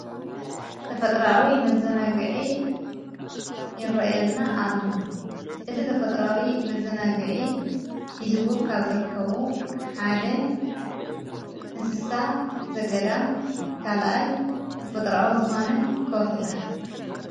ተፈጥራዊ መዘናግዒ ይረአየና ኣለዋን እቲ ተፈጥራዊ መዘናግዒ ኂዝዎም ካብ ዘርከቡ ሓደ እንስሳ ዘገዳ ካልኣይ ተፈጥራዊ ዝኾነ ከወሒታት።